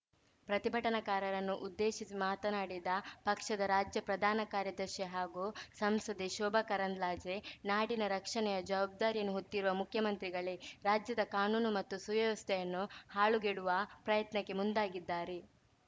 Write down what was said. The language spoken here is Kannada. ಪ್ರತಿಭಟನಾಕಾರರನ್ನು ಉದ್ದೇಶಿಸಿ ಮಾತನಾಡಿದ ಪಕ್ಷದ ರಾಜ್ಯ ಪ್ರಧಾನ ಕಾರ್ಯದರ್ಶಿ ಹಾಗೂ ಸಂಸದೆ ಶೋಭಾ ಕರಂದ್ಲಾಜೆ ನಾಡಿನ ರಕ್ಷಣೆಯ ಜವಾಬ್ದಾರಿಯನ್ನು ಹೊತ್ತಿರುವ ಮುಖ್ಯಮಂತ್ರಿಗಳೇ ರಾಜ್ಯದ ಕಾನೂನು ಮತ್ತು ಸುವ್ಯವಸ್ಥೆಯನ್ನು ಹಾಳುಗೆಡುವ ಪ್ರಯತ್ನಕ್ಕೆ ಮುಂದಾಗಿದ್ದಾರೆ